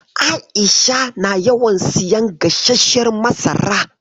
A'isha na yawan siyan gasasshiyar masara.